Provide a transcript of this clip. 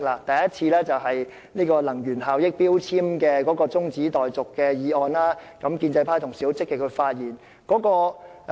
第一次是有關《能源效益條例》的中止待續議案，建制派同事當時十分積極發言。